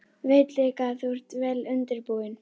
Veit líka að þú ert vel undirbúinn.